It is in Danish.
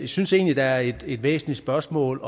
synes egentlig der er et væsentligt spørgsmål